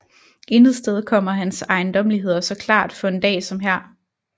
Intet sted kommer hans ejendommeligheder så klart for en dag som her